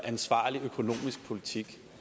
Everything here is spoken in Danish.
ansvarlig økonomisk politik